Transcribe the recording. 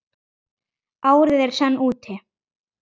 Árið er senn úti.